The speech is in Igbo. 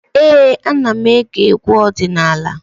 Ee, ana m ege egwu ọdịnala.